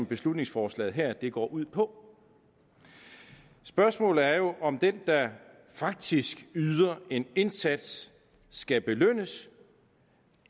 beslutningsforslaget her går ud på spørgsmålet er jo om den der faktisk yder en indsats skal belønnes